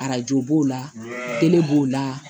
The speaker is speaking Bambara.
Arajo b'o la kelen b'o la